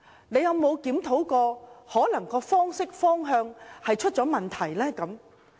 他們有否檢討過，是否其行事方式或方向出了問題？